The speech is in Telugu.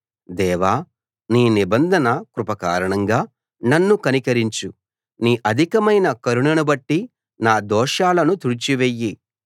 దేవా నీ నిబంధన కృప కారణంగా నన్ను కనికరించు నీ అధికమైన కరుణను బట్టి నా దోషాలను తుడిచివెయ్యి